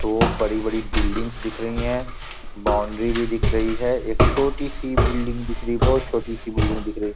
दो बड़ी-बड़ी बिल्डिंग्स दिख रही है बाउंड्री भी दिख रही है एक छोटी -सी बिल्डिंग दिख रही है बहोत छोटी -सी बिल्डिंग दिख रही हैं ।